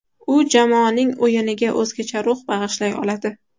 U jamoaning o‘yiniga o‘zgacha ruh bag‘ishlay oladi.